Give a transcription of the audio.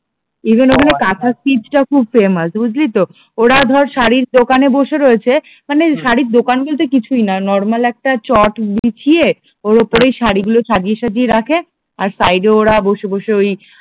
even ওখানে কাঁথা স্টিচটা খুব ফেমাস বুঝলি তো ওরা ধর শাড়ির দোকানে বসে রয়েছে মানে শাড়ির দোকান বলতে কিছুই না নরমাল একটা চট বিছিয়ে ওর ওপরেই শাড়িগুলো সাজিয়ে সাজিয়ে রাখে আর সাইড এ ওরা বসে বসে ওই